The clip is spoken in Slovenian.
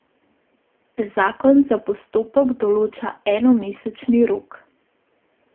Zakon za postopek določa enomesečni rok.